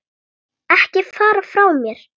Ekki fara frá mér!